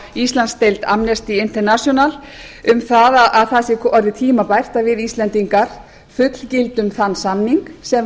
íslandsdeild amnesty international um að það sé orðið tímabært að við íslendingar fullgildum þann samning sem